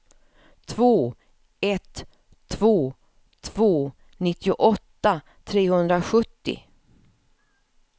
två ett två två nittioåtta trehundrasjuttio